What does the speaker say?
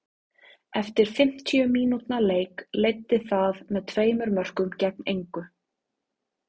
Eftir fimmtíu mínútna leik leiddi það með tveimur mörkum gegn engu.